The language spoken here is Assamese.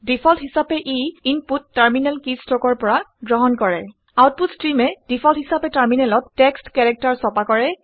ডিফল্ট হিচাপে ইনপুট টাৰমিনেল কিষ্ট্ৰকৰ পৰা গ্ৰহণ কৰে আউটপুট ষ্ট্ৰীমে ডিফল্ট হিচাপে টাৰমিনেলত টেক্সট কেৰেক্টাৰ ছপা কৰে